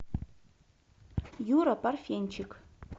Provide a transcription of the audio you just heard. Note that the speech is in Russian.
юра парфенчик